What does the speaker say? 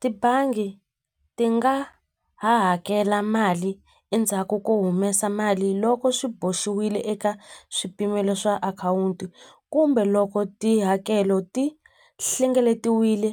Tibangi ti nga ha hakela mali endzhaku ko humesa mali loko swi boxiwile eka swipimelo swa akhawunti kumbe loko tihakelo ti hlengeletiwile